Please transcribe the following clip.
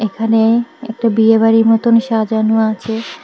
এখানে একটা বিয়ে বাড়ির মতন সাজানো আছে।